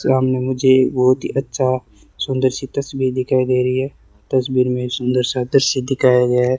सामने मुझे बहुत ही अच्छा सुंदर सी तस्वीर दिखाई दे रही है तस्वीर में सुंदर सा दृश्य दिखाया गया है।